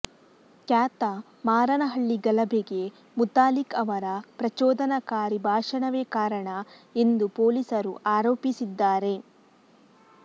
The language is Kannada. ಕ್ಯಾತಮಾರನಹಳ್ಳಿ ಗಲಭೆಗೆ ಮುತಾಲಿಕ್ ಅವರ ಪ್ರಚೋದನಕಾರಿ ಭಾಷಣವೇ ಕಾರಣ ಎಂದು ಪೊಲೀಸರು ಆರೋಪಿಸಿದ್ದಾರೆ